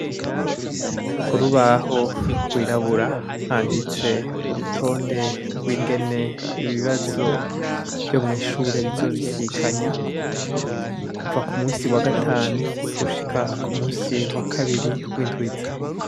Kurubaho gwirabura handitse urutonde gw' ingene ibibazo vyo mwi shure bizobisikanya kuva ku munsi wa gatanu gushika ku munsi wa kabiri w' indwi iza.